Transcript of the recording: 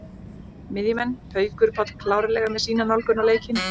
Miðjumenn: Haukur Páll klárlega með sína nálgun á leikinn.